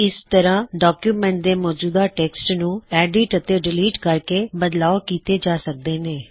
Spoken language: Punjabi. ਇਸ ਤਰ੍ਹਾ ਡੌਕਯੁਮੈੱਨਟ ਦੇ ਮੌਜੂਦਾ ਟੈਕਸਟ ਨੂੰ ਐੱਡਿਟ ਅਤੇ ਡਿਲੀਟ ਕਰਕੇ ਬਦਲਾਵ ਕੀੱਤੇ ਜਾ ਸਕਦੇ ਨੇ